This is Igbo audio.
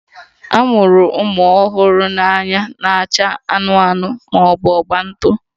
A mụrụ ụmụ ọhụrụ na anya na-acha anụnụ anụnụ ma ọ bụ agba ntụ